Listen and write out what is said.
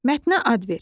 Mətnə ad ver.